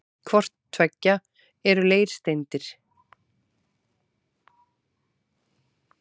Hvort tveggja eru leirsteindir.